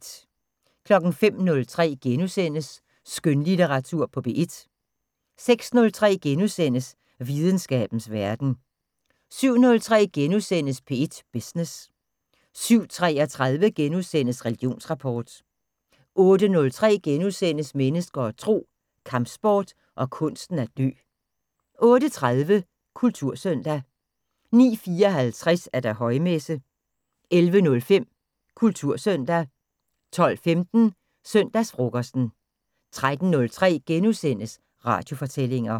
05:03: Skønlitteratur på P1 * 06:03: Videnskabens Verden * 07:03: P1 Business * 07:33: Religionsrapport * 08:03: Mennesker og Tro: Kampsport og kunsten at dø * 08:30: Kultursøndag 09:54: Højmesse - 11:05: Kultursøndag 12:15: Søndagsfrokosten 13:03: Radiofortællinger *